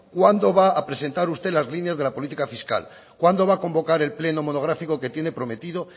cuándo va a presentar usted las líneas de la política fiscal cuándo va a convocar el pleno monográfico que tiene prometido